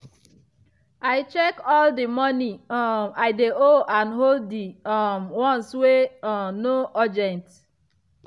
i check all the money um i dey owe and hold the um ones wey um no urgent.